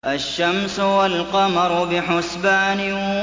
الشَّمْسُ وَالْقَمَرُ بِحُسْبَانٍ